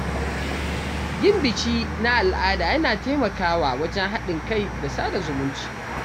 Yin biki na al’ada yana taimakawa wajen haɗin kai da sada zumunci.